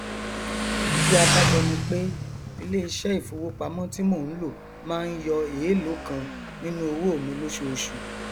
ìdí abájọ ni pé iléiṣẹ ìfowópamọ ti mo ń lò máa ń yọ eélòó kan nínú owó mi lóṣooṣù